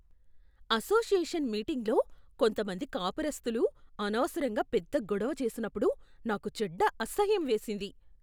Association మీటింగులో కొంతమంది కాపురస్తులు అనవసరంగా పెద్ద గొడవ చేసినప్పుడు నాకు చెడ్డ అసహ్యం వేసింది.